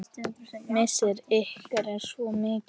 Missir ykkar er svo mikill.